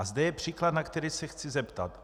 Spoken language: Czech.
A zde je příklad, na který se chci zeptat.